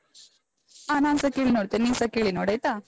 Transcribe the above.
ಹ ನಾನ್ಸ ಕೇಳಿ ನೋಡ್ತೇನೆ, ನೀನ್ಸ ಕೇಳಿ ನೋಡಾಯ್ತಾ?